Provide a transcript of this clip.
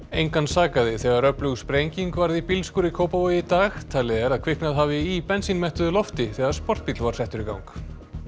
engan sakaði þegar öflug sprenging varð í bílskúr í Kópavogi í dag talið er að kviknað hafi í lofti þegar sportbíll var settur í gang